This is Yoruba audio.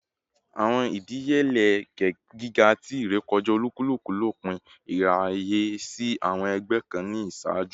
Awọn idiyele giga ti irekọja olukuluku lopin iraye si awọn ẹgbẹ kan ni iṣaaju